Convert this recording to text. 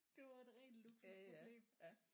Det var et rent luksusproblem